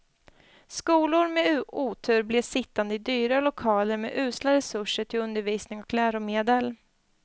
Skolor med otur blev sittande i dyra lokaler med usla resurser till undervisning och läromedel.